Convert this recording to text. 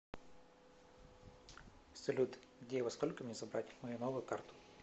салют где и во сколько мне забрать мою новую карту